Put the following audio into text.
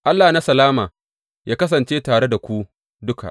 Allah na salama yă kasance tare da ku duka.